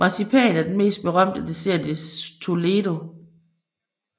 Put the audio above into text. Marcipan er den mest berømte dessert i Toledo